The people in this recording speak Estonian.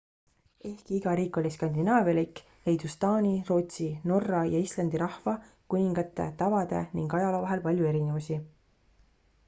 ehkki iga riik oli skandinaavialik leidus taani rootsi norra ja islandi rahva kuningate tavade ning ajaloo vahel palju erinevusi